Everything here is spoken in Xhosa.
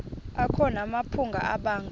akho namaphupha abanga